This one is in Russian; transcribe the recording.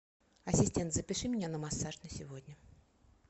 ассистент запиши меня на массаж на сегодня